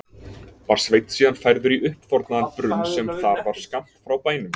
Var Sveinn síðan færður í uppþornaðan brunn sem þar var skammt frá bænum.